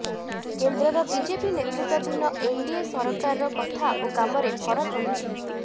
କେନ୍ଦ୍ରର ବିଜେପି ନେତୃତ୍ୱାଧୀନ ଏନ୍ଡିଏ ସରକାରର କଥା ଓ କାମରେ ଫରକ ରହିଛି